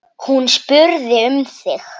Hún spurði um þig.